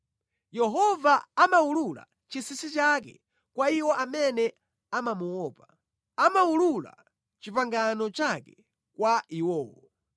Yehova amawulula chinsinsi chake kwa iwo amene amamuopa; amawulula pangano lake kwa iwowo.